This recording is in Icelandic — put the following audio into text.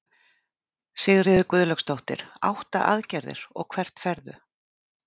Sigríður Guðlaugsdóttir: Átta aðgerðir, og hvert ferðu?